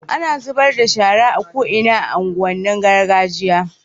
ana zubar da shara a ko'ina a unguwan nin gargajiya